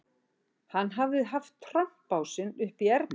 Hann hafði haft trompásinn uppi í erminni